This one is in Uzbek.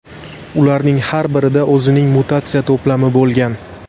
Ularning har birida o‘zining mutatsiya to‘plami bo‘lgan.